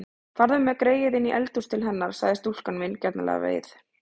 Farðu með greyið inní eldhús til hennar, sagði stúlkan vingjarnlega við